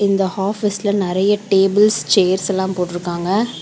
இந்த ஹாபீஸ்ல நெறைய டேபிள்ஸ் சேர்ஸ் எல்லா போட்டுருக்காங்க.